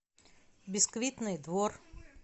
бисквитный двор